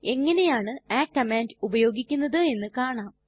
എങ്ങനെയാണു ആ കമാൻഡ് ഉപയോഗിക്കുന്നത് എന്ന് കാണാം